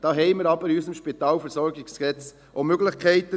Dazu haben wir aber in unserem SpVG auch Möglichkeiten.